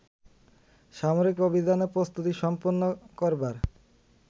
সামরিক অভিযানে প্রস্তুতি সম্পন্ন করবার